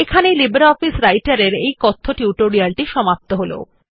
এই লিব্রিঅফিস রাইটের এর এই কথ্য টিউটোরিয়াল টি সমাপ্ত হল